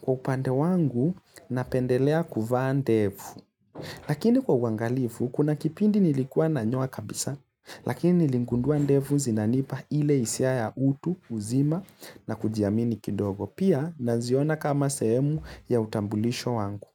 Kwa upande wangu, napendelea kuvaa ndevu. Lakini kwa uwangalifu, kuna kipindi nilikua nanyoa kabisa, lakini niligundua ndevu zinanipa ile hisia ya utu, uzima na kujiamini kidogo. Pia, naziona kama sehemu ya utambulisho wangu.